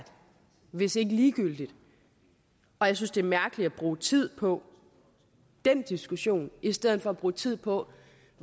hvis ikke ligegyldig og jeg synes det er mærkeligt at bruge tid på den diskussion i stedet for at bruge tid på